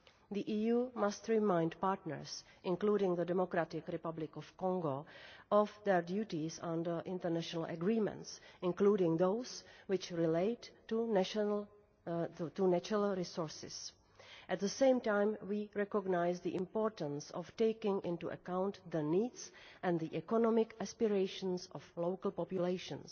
The EU must remind partners, including the Democratic Republic of Congo of their duties under international agreements, including those which relate to natural resources. At the same time, we recognise the importance of taking into account the needs and the economic aspirations of local populations.